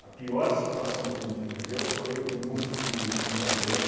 A pior situação que a gente viveu foi no no final do ano.